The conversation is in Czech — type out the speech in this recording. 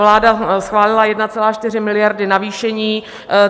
Vláda schválila 1,4 miliardy navýšení.